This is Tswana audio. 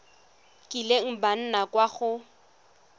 kileng ba nna kwa go